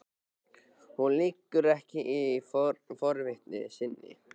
Hún liggur ekki á forvitni sinni.